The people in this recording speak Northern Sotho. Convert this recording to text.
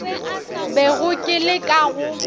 bego ke le ka go